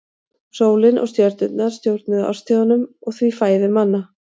Sólin og stjörnurnar stjórnuðu árstíðunum og því fæðu manna.